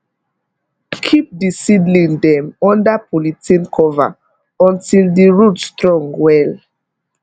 keep di seedling dem under polythene cover until di root strong well